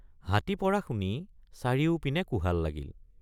হাতী পৰা শুনি চাৰিওপিনে কোহাল লাগিল।